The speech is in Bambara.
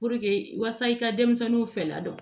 Puruke wasa i ka denmisɛnninw fɛ ladɔn